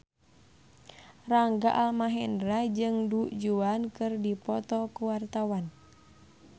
Rangga Almahendra jeung Du Juan keur dipoto ku wartawan